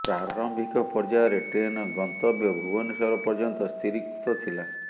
ପ୍ରାରମ୍ଭିକ ପର୍ଯ୍ୟାୟରେ ଟ୍ରେନର ଗନ୍ତବ୍ୟ ଭୁବନେଶ୍ୱର ପର୍ଯ୍ୟନ୍ତ ସ୍ଥିରିକୃତ ଥିଲା